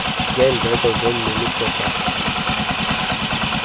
ngeendleko zomnini propati